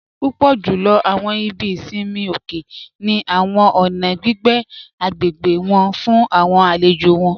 Púpọ̀ júlọ̀ awọn ìbí ìṣinmi òkè ni awọn ọ̀nà gbigbé agbégbe wọn fún awọn àlèjò wọn